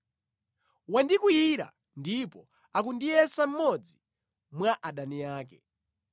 Wandikwiyira ndipo akundiyesa mmodzi mwa adani ake.